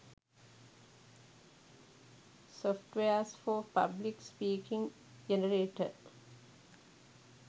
softwares for public speaking generator